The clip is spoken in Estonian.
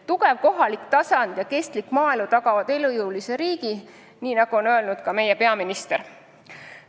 Tugev kohalik tasand ja kestlik maaelu tagavad elujõulise riigi, nagu on öelnud ka meie peaminister.